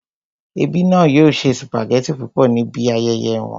Ẹbí náà yóò se sùpàgẹ́tì púpọ̀ níbi ayẹyẹ wọn